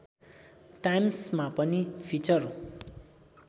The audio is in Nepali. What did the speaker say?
टाइम्समा पनि फिचर